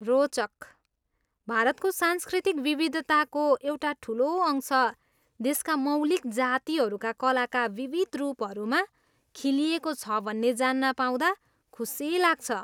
रोचक! भारतको सांस्कृतिक विविधताको एउटा ठुलो अंश देशका मौलिक जातिहरूका कलाका विविध रूपहरूमा खिलिएको छ भन्ने जान्न पाउँदा खुसी लाग्छ।